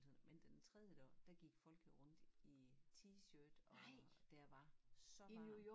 Men den tredje dag der gik folk jo rundt i t-shirt og der var så varmt